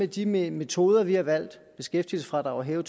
de metoder vi har valgt af beskæftigelsesfradraget og